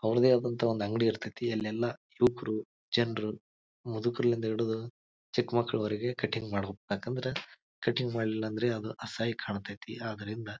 ಅವರದ್ದೇ ಆದಾಂತಃ ಒಂದು ಅಂಗಡಿ ಇರ್ತಾತ್ತಿ ಅಲ್ಲೆಲ್ಲ ಯುವಕರು ಜನರು ಮುದುಕ್ರುಳಿಂದ ಹಿಡಿದು ಚಿಕ್ಕಮಕ್ಕಳವರೆಗೆ ಕಟಿಂಗ್ ಮಾಡ್ಬೇಕ ಯಾಕಂದರ ಕಟಿಂಗ್ ಮಾಡಿಲ್ಲ ಅಂದ್ರ ಅದು ಅಸಹ್ಯ ಕಾಂತೈತಿ. ಅದರಿಂದ--